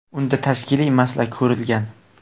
Unda tashkiliy masala ko‘rilgan.